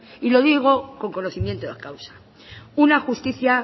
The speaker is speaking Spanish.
y lo digo con conocimiento de causa una justicia